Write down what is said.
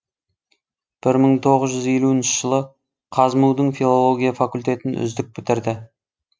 бір мың тоғыз жүз елуінші жылы қазму дің филология факультетін үздік бітірді